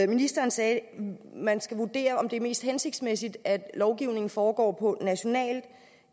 ministeren sagde at man skal vurdere om det er mest hensigtsmæssigt at lovgivningen foregår på nationalt